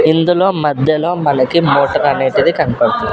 ఇందులో మధ్యలో మనకి అనేటిది కనబడుతు--